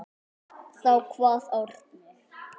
Þá kvað Árni: